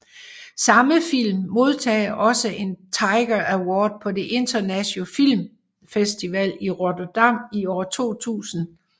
Samme film modtog også en Tiger Award på den internationale filmfestival i Rotterdam i år 2000